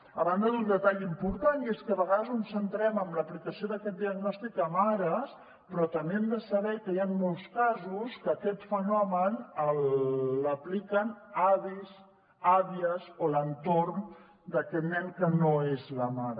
a banda d’un detall important i és que a vegades ens centrem en l’aplicació d’aquest diagnòstic a mares però també hem de saber que hi han molts casos que aquest fenomen l’apliquen avis àvies o l’entorn d’aquest nen que no és la mare